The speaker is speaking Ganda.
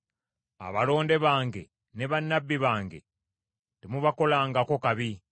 “Abalonde bange, ne bannabbi bange temubakolangako kabi.”